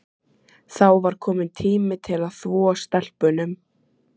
Þá var kominn tími til að þvo stelpunum.